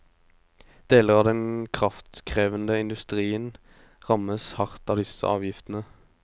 Deler av den kraftkrevende industrien rammes hardt av disse avgiftene.